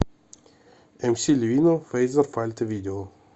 эмси ливино фэйзер фальта видео